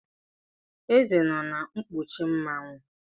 Eze nọ na nkpuchi Mmanwu.